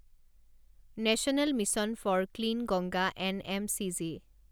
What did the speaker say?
national mission for clean Ganga NMCG